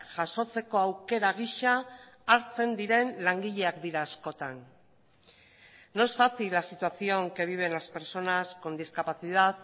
jasotzeko aukera gisa hartzen diren langileak dira askotan no es fácil la situación que viven las personas con discapacidad